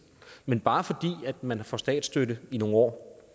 men bare fordi man får statsstøtte i nogle år